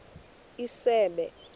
isebe